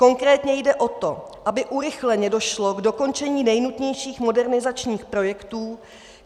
Konkrétně jde o to, aby urychleně došlo k dokončení nejnutnějších modernizačních projektů.